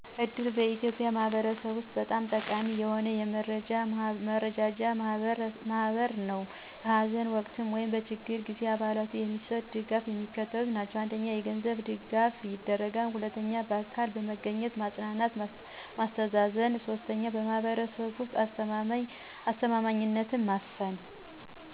እድር በኢትዮጵያን ማህበረሰብ ውስጥ በጣም ጠቃሚ የሆነ የመረዳጃ ማህበር ነው። በሐዘን ወቅት ወይም በችግር ጊዜ ለአባላቱ የሚሰጥ ድጋፍ የሚከተሉት ናቸው: 1. የገንዘብ ድጋፍ ይደረጋል 2. በአካል በመገኘት ማጽናናት ማስተዛዘን 3. በማህበረሰቡ ውስጥ አስተማማኝነትን ማስፈን።